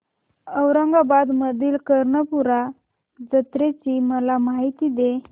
औरंगाबाद मधील कर्णपूरा जत्रेची मला माहिती दे